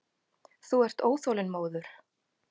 Þú ert óþolinmóður.